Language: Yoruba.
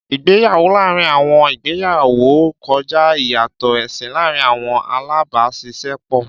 Ìgbéyàwó láàárín àwọn ìgbéyàwó kọjá ìyàtọ̀ ẹ̀sìn láàárín àwọn alábàáṣiṣẹ́pọ̀.